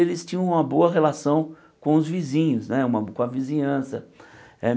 E eles tinham uma boa relação com os vizinhos né, uma com a vizinhança.